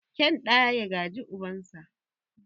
Kyan ɗa ya gaji ubansa.